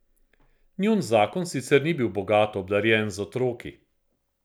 Njun zakon sicer ni bil bogato obdarjen z otroki.